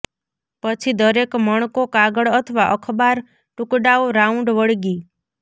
પછી દરેક મણકો કાગળ અથવા અખબાર ટુકડાઓ રાઉન્ડ વળગી